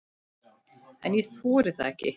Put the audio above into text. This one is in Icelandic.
En ég þori það ekki.